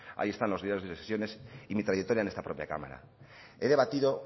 ahí están los diarios de sesiones y mi trayectoria en esta propia cámara he debatido